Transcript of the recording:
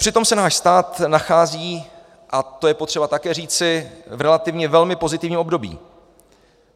Přitom se náš stát nachází, a to je potřeba také říci, v relativně velmi pozitivním období.